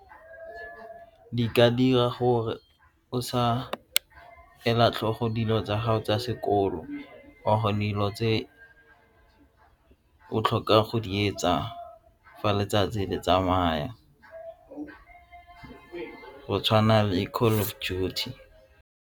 Di ka dira gore o sa ela tlhogo dilo tsa gago tsa sekolo wa kgona dilo tse o tlhoka go di etsa fa letsatsi le tsamaya o go tshwana le Call Of Duty.